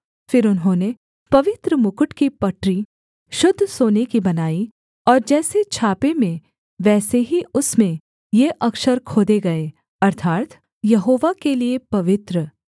फिर उन्होंने पवित्र मुकुट की पटरी शुद्ध सोने की बनाई और जैसे छापे में वैसे ही उसमें ये अक्षर खोदे गए अर्थात् यहोवा के लिये पवित्र